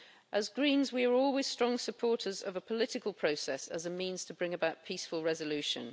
As Greens, we are always strong supporters of a political process as a means to bring about peaceful resolution.